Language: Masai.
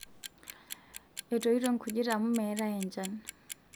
etoito nkujit amu meetae enchan